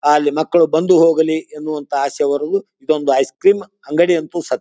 ಅಹ್ ಅಲ್ಲಿ ಮಕ್ಕಳು ಬಂದು ಹೋಗಲಿ ಎನ್ನುವಂತಹ ಆಸೆಯವರು ಇದ್ದೊಂದು ಐಸ್ ಕ್ರೀಮ್ ಅಂಗಡಿ ಅಂತೂ ಸ --